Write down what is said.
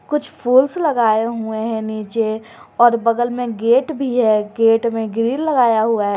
कुछ फूल्स लगाए हुए हैं नीचे और बगल में गेट भी है गेट में ग्रिल लगाया हुआ है।